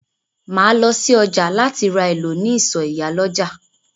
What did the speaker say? Máa lọ si ọjà láti ra èlò ní ìsọ̀ ìyálọ́jà.